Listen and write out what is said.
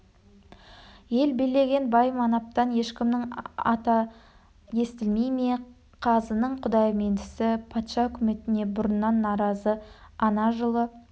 ел билеген бай манаптан ешкімнің аты естілмей ме қазының құдаймендісі патша үкіметіне бұрыннан наразы ана жылы